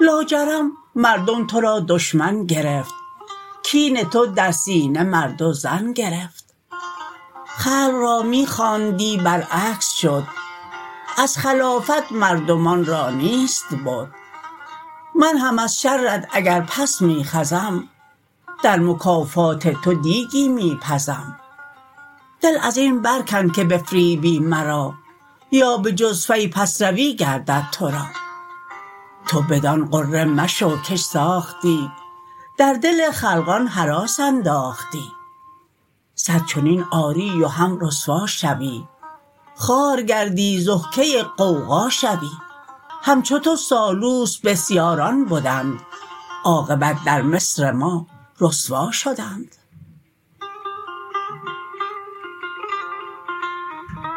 لاجرم مردم تو را دشمن گرفت کین تو در سینه مرد و زن گرفت خلق را می خواندی بر عکس شد از خلافت مردمان را نیست بد من هم از شرت اگر پس می خزم در مکافات تو دیگی می پزم دل ازین بر کن که بفریبی مرا یا به جز فی پس روی گردد تو را تو بدان غره مشو کش ساختی در دل خلقان هراس انداختی صد چنین آری و هم رسوا شوی خوار گردی ضحکه غوغا شوی همچو تو سالوس بسیاران بدند عاقبت در مصر ما رسوا شدند